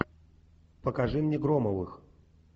покажи мне громовых